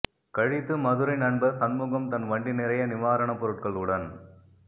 கழித்து மதுரை நண்பர் சண்முகம் தன் வண்டி நிறைய நிவாரணப் பொருட்களுடன்